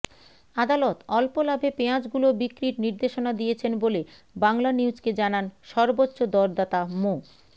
আদালত অল্প লাভে পেঁয়াজগুলো বিক্রির নির্দেশনা দিয়েছেন বলে বাংলানিউজকে জানান সর্বোচ্চ দরদাতা মো